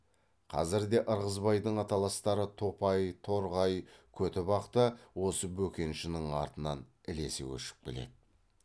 қазірде ырғызбайдың аталастары топай торғай көтібақ та осы бөкеншінің артынан ілесе көшіп келеді